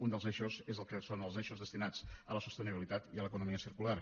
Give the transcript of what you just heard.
un dels eixos és el que són els eixos destinats a la sostenibilitat i a l’economia circular